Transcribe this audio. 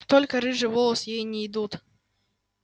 только рыжие волосы ей не идут